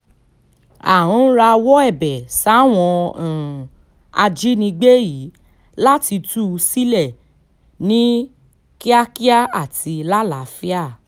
à ń rawọ́ ẹ̀bẹ̀ sáwọn um ajínigbé yìí láti tú u sílẹ̀ ní um kíákíá àti lálàáfíà